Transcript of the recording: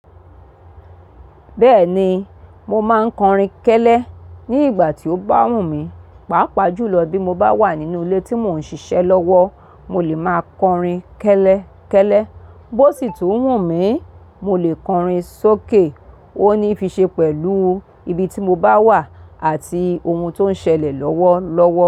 Bẹ́ẹ̀ni, mo máa ń kọrin kẹ́lẹ́ ní ìgbà tí ó bá wù mí, pàápàá jùlọ bí mo bá wà nínú ilé tí mò ń ṣiṣẹ́ lọ́wọ́, mo lè máa kọrin kẹ́lẹ́, kẹ́lẹ́. Bó sì tún wù mí, mo lè kọrin sókè. Ó ní fi ṣe pẹ̀lú ibi tí mo bá wà àti ohun tó ń ṣẹlẹ̀ lọ́wọ́ lọ́wọ́